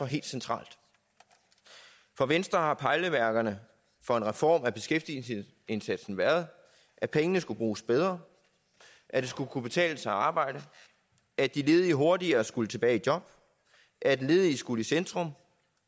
helt centralt for venstre har pejlemærkerne for en reform af beskæftigelsesindsatsen været at pengene skulle bruges bedre at det skulle kunne betale sig at arbejde at de ledige hurtigere skulle tilbage i job at ledige skulle i centrum